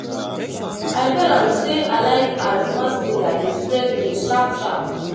I tell am sey I like as mass media dey spread news sharp-sharp.